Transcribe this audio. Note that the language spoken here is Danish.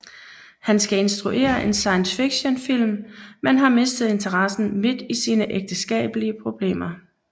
Han skal instruere en science fiction film men har mistet interessen midt i sine ægteskabelige problemer